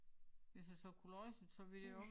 Hvis jeg så kunne læse det så ville jeg også